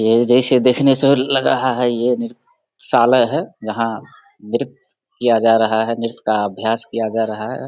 ये जैसे देखने से लग रहा है ये नृत्यशालाय है जहाँ नृत्य किया जा रहा है नृत्य का अभ्यास किया जा रहा है ।